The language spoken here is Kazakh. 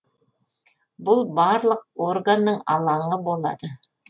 бұл барлық органның алаңы болады